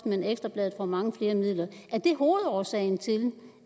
men at ekstra bladet får mange flere midler er det hovedårsagen til